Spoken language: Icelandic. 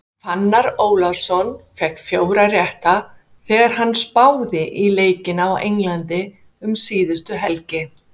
Fannar Ólafsson fékk fjóra rétta þegar hann spáði í leikina á Englandi um síðustu helgi.